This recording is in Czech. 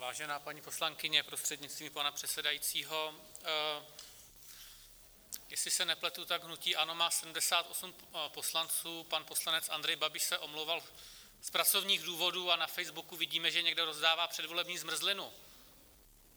Vážená paní poslankyně prostřednictvím pana předsedajícího, jestli se nepletu, tak hnutí ANO má 78 poslanců, pan poslanec Andrej Babiš se omlouval z pracovních důvodů a na Facebooku vidíme, že někde rozdává předvolební zmrzlinu.